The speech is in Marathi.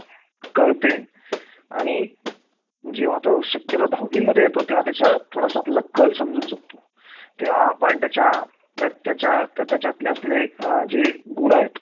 आपल्या देशाचा आणि आपला पण सर्वांगीण विकास होऊ शकतो असं मला वाटत. ठीक आहे ma'am bye.